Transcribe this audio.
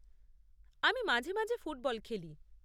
আমি মাঝে মাঝে ফুটবল খেলি।